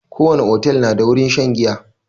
Ko wani otel na da wurin shan giya